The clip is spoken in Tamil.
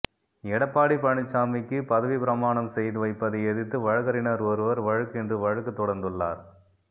எடப்பாடி பழனிச்சாமிக்கு பதவிப்பிரமாணம் செய்து வைப்பதை எதிர்த்து வழக்கறிஞர் ஒருவர் வழக்கு இன்று வழக்கு தொடர்ந்துள்ளார்